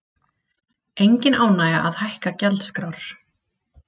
Engin ánægja að hækka gjaldskrár